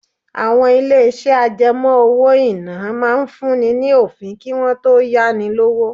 Àwọn ilé-iṣẹ́ àjẹmọ́ owó-ìná máa ń fún ni ní òfin kí wọ́n tó yá ni lówó.